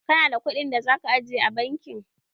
Ka na da kuɗin da za ka aje a bankin?